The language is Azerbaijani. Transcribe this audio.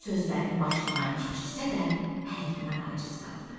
Sözlərini başından keçirsə də, həllinə aciz qaldı.